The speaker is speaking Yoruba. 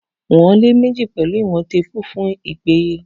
Wọ̀n lẹ́ẹ̀mejì pẹ̀lú ìwọ̀n téèpù fún ìpéye.